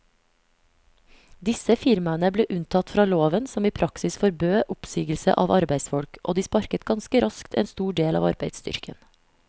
Disse firmaene ble unntatt fra loven som i praksis forbød oppsigelse av arbeidsfolk, og de sparket ganske raskt en stor del av arbeidsstyrken.